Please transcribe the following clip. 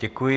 Děkuji.